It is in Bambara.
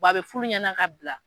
a bɛ fulu ɲɛna ka bila.